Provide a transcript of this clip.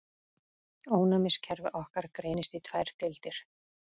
Ónæmiskerfi okkar greinist í tvær deildir.